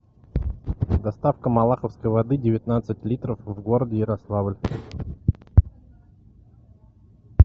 доставка малаховской воды девятнадцать литров в городе ярославль